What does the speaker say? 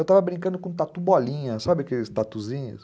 Eu estava brincando com tatu bolinha, sabe aqueles tatuzinhos?